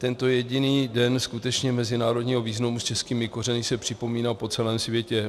Tento jediný den skutečně mezinárodního významu s českými kořeny se připomíná po celém světě.